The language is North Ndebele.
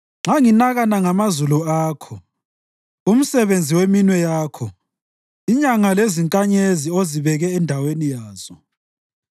Nxa nginakana ngamazulu akho, umsebenzi weminwe yakho, inyanga lezinkanyezi ozibeke endaweni yazo,